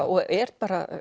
og er